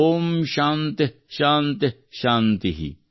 ಓಂ ಶಾಂತಿಃ ಶಾಂತಿಃ ಶಾಂತಿಃ